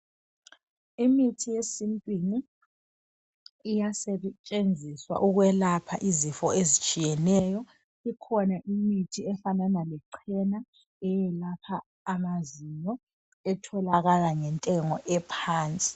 Imithi yesintwini iyasetshenziswa ukwelapha izifo ezitshiyeneyo kukhona imithi efanana lechena eyelapha amazinyo etholakala ngentengo ephansi